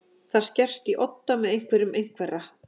Það skerst í odda með einhverjum einhverra